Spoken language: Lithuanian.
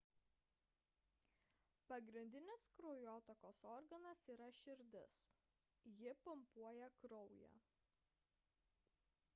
pagrindinis kraujotakos organas yra širdis ji pumpuoja kraują